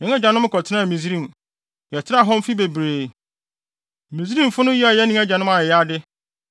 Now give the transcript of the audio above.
Yɛn agyanom kɔtenaa Misraim, yɛtenaa hɔ mfe bebree. Misraimfo no yɛɛ yɛne yɛn agyanom ayayade,